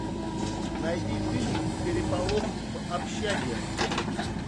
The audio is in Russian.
найди фильм переполох в общаге